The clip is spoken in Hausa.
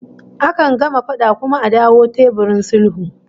Akan gama fada kuma a dawo teburin sulhu